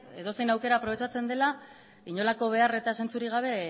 edozein aukera aprobetxatzen dela inolako behar eta zentzurik gabe